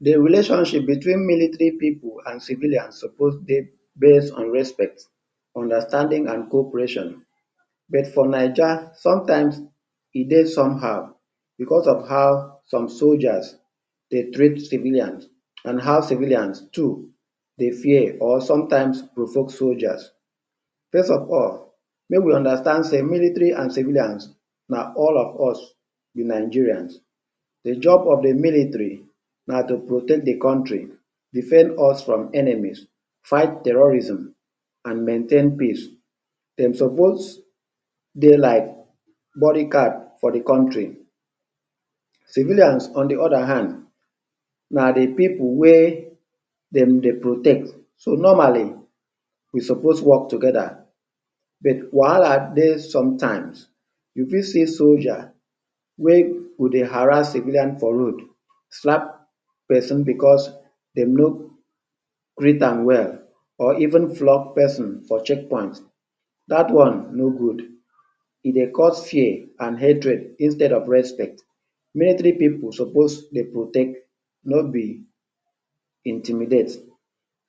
De relationship between military pipu and civilian suppose dey base on respect, understanding and cooperation but for Naija sometimes e dey somehow because of how soldiers dey treat civilians and how civilians too dey fear or sometimes provoke soldiers. First of all make we understand sey military and civilians na all of us be Nigerians. De job of de military na to protect de country, defend us from enemies, fight terrorism and maintain peace. Dem suppose dey like bodyguard for de country. Civilians on de other hand na de pipu wey dem dey protect. So normally we suppose work together but wahala dey sometimes you fit see soldier wey go dey harass civilians for road, slap person because dem no greet am well or even flog person for checkpoint dat one no good. E dey cause fear and hatred instead of respect, military pipu suppose dey protect no be intimidate.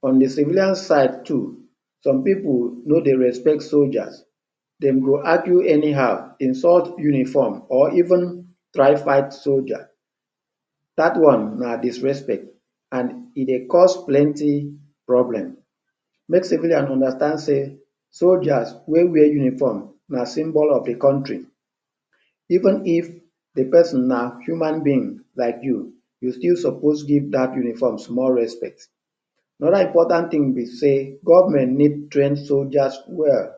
On de civilian side too some pipu no dey respect soldiers. Dem go argue anyhow, insult uniform or even drive by soldier. Dat one na disrespect and e dey cause plenty problem. Make civilians understand sey soldiers wey wear uniform na symbol of de country. Even if de person na human being like you, you still suppose give dat uniform small respect. Another important thing be sey government need train soldiers well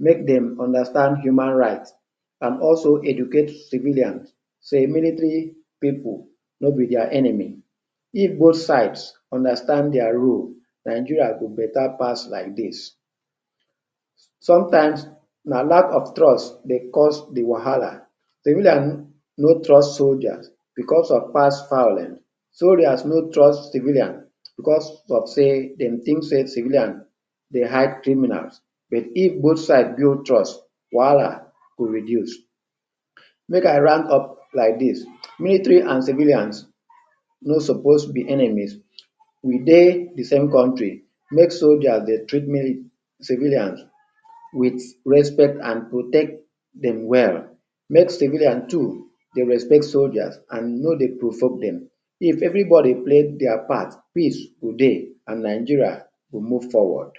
make dem understand human right and also educate civilians sey military pipu no be their enemy. If both side understand dia rule Nigeria go better pass like dis. Sometimes na lack of trust dey cause de wahala, civilians no trust soldiers because of past violence, soldiers no trust civilian because of sey dem think sey civilian dey hide criminals but if both side build trust wahala go reduce. Make I round up like dis military and civilians no suppose be enemies, we dey de same country. Make soldiers dey treat? civilians wit respect and protect dem well, make civilians too dey respect soldiers and no dey provoke dem. If everybody dey play their part peace go dey and Nigeria go move forward.